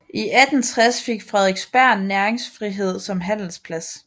I 1860 fik Frederiksberg næringsfrihed som handelsplads